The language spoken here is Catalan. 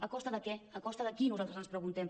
a cos·ta de què a costa de qui nosaltres ens preguntem